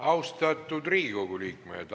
Austatud Riigikogu liikmed!